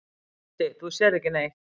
Broddi: Þú sérð ekki neitt.